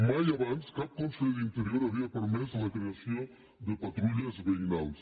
mai abans cap conseller d’interior havia permès la creació de patrulles veïnals